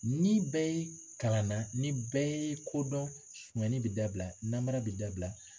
Ni bɛɛ ye kalanna ni bɛɛ ye kodɔn sonyali bɛ dabila namara bɛ dabila